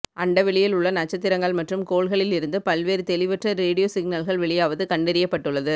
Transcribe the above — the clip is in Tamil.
அண்டவெளியில் உள்ள நட்சத்திரங்கள் மற்றும் கோள்களில் இருந்து பல்வேறு தெளிவற்ற ரேடியோ சிக்னல்கள் வெளியாவது கண்டறியப்பட்டுள்ளது